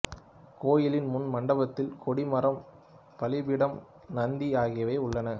கோயிலின் முன் மண்டபத்தில் கொடி மரம் பலிபீடம் நந்தி ஆகியவை உள்ளன